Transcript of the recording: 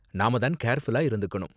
நாம தான் கேர்ஃபுல்லா இருந்துக்கணும்.